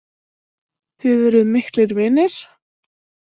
Þið eruð miklir vinir?